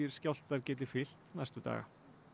skjálftar geti fylgt næstu daga